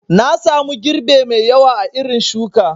Nasamu girbe mai ƴawa a irin shuki